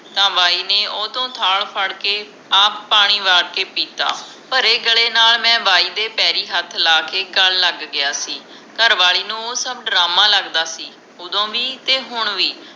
ਤਾ ਬਾਈ ਓਹਤੋਂ ਥਾਲ ਫੜ੍ਹ ਕੇ ਆਪ ਪਾਣੀ ਵਾਰ ਕੇ ਪੀਤਾ ਭਰੇ ਗਲੇ ਨਾਲ ਬਾਈ ਦੇ ਪੈਰੀ ਹੱਥ ਲੈ ਕੇ ਗੱਲ ਲਗ ਗਿਆ ਸੀ ਘਰਵਾਲੀ ਨੂੰ ਸਭ ਡਰਾਮਾ ਲਗਦਾ ਸੀ ਓਦੋ ਵੀ ਤੇ ਹੁਣ ਵੀ